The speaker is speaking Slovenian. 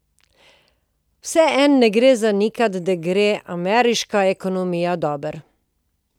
Vseeno ne gre zanikati, da gre ameriški ekonomijo dobro.